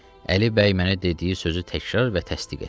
Əli bəy mənə dediyi sözü təkrar və təsdiq etdi.